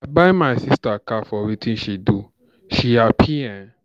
I buy my sister car for wetin she do, she happy ee.